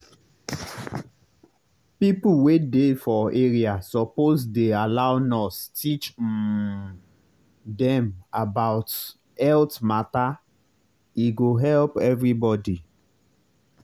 people wey dey for area suppose dey allow nurse teach um dem about health matter e go help everybody.